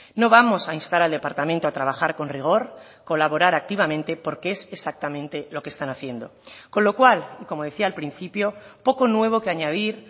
no vamos a instar al departamento a trabajar con rigor colaborar activamente porque es exactamente lo que están haciendo con lo cual y como decía al principio poco nuevo que añadir